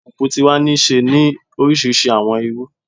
Alupupu ti wa ni ṣe ni orisirisi awọn iru